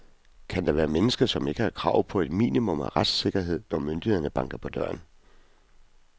Kan der være mennesker, som ikke har krav på et minimum af retssikkerhed, når myndigheder banker på døren.